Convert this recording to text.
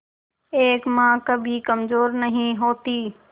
एक मां कभी कमजोर नहीं होती